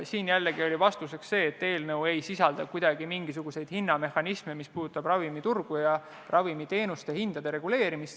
Siin oli jällegi vastus see, et eelnõu ei sisalda mingisuguseid hinnamehhanisme, mis puudutab ravimiturgu ja ravimiteenuste hindade reguleerimist.